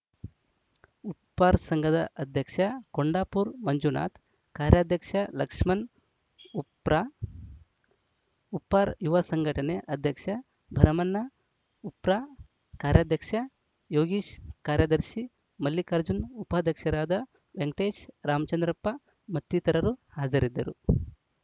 ಉಪ್ಪಾರ ಸಂಘದ ಅಧ್ಯಕ್ಷ ಕೊಂಡಾಪುರ ಮಂಜುನಾಥ್‌ ಕಾರ್ಯಾಧ್ಯಕ್ಷ ಲಕ್ಷ್ಮಣ್‌ ಉಪ್ರ ಉಪ್ಪಾರ ಯುವ ಸಂಘಟನೆ ಅಧ್ಯಕ್ಷ ಭರಮಣ್ಣ ಉಪ್ರ ಕಾರ್ಯಾಧ್ಯಕ್ಷ ಯೋಗೀಶ್‌ ಕಾರ್ಯದರ್ಶಿ ಮಲ್ಲಿಕಾರ್ಜುನ್‌ ಉಪಾಧ್ಯಕ್ಷರಾದ ವೆಂಕಟೇಶ್‌ ರಾಮಚಂದ್ರಪ್ಪ ಮತ್ತಿತರರು ಹಾಜರಿದ್ದರು